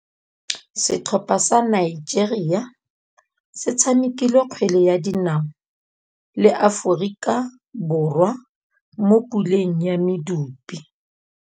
Setlhopha sa Nigeria se tshamekile kgwele ya dinaô le Aforika Borwa mo puleng ya medupe.